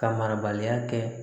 Ka marabaliya kɛ